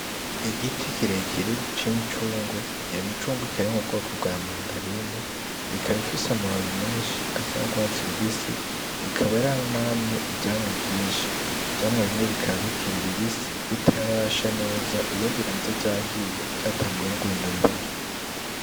Igiti kirekire c'imicungwe yo micungweikarimwe bwoko bwa mandarine ikabifise amababi menshi asa n'ugwatsira ubisi ikaba yaranamye ivyamwa vyinshi vyamwa bimwe bikabikira ibibisi bitarasha neza ibindi ntatozahiye vyatanguwe no guhindura ibara.